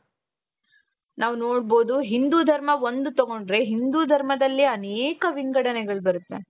ನಾವು ನೋಡಬಹುದು ಹಿಂದೂ ಧರ್ಮ ಒಂದು ತಗೊಂಡ್ರೆ ಹಿಂದೂ ಧರ್ಮದಲ್ಲೇ ಅನೇಕ ವಿಂಗಡನೆಗಳು ಬರುತ್ತೆ.